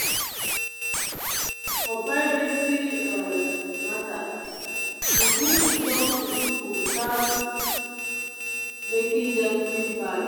for privacy um matter e good to talk to people without making dem feel bad.